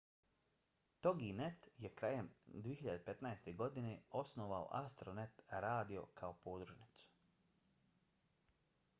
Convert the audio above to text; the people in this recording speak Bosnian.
toginet je krajem 2015. godine osnovao astronet radio kao podružnicu